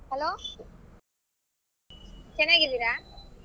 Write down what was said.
Hello ಚೆನ್ನಾಗಿದ್ದೀರಾ?